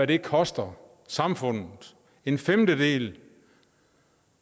det koster samfundet en femtedel